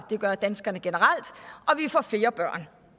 det gør danskerne generelt